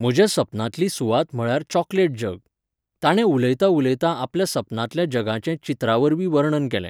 म्हज्या सपनांतली सुवात म्हळ्यार चॉकलेट जग. ताणें उलयतां उलयतां आपल्या सपनांतल्या जगाचें चित्रां वरवीं वर्णन केलें.